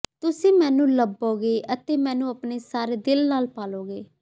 ਤੁਸੀਂ ਮੈਨੂੰ ਲੱਭੋਗੇ ਅਤੇ ਮੈਨੂੰ ਆਪਣੇ ਸਾਰੇ ਦਿਲ ਨਾਲ ਭਾਲੋਗੇ